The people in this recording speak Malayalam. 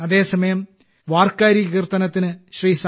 അതേസമയം വാർക്കാരി കീർത്തനത്തിന് ശ്രീ